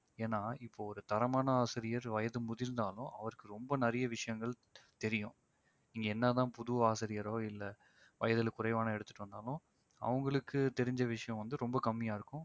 ஏன்னா இப்போ ஒரு தரமான ஆசிரியர் வயது முதிர்ந்தாலும் அவருக்கு ரொம்ப நிறைய விஷயங்கள் தெரியும். இங்க என்னதான் புது ஆசிரியரோ இல்ல வயதில குறைவான எடுத்து வந்தாலும் அவங்களுக்கு தெரிஞ்ச விஷயம் வந்து ரொம்ப கம்மியா இருக்கும்